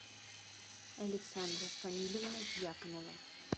александра фанилевна дьяконова